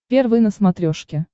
первый на смотрешке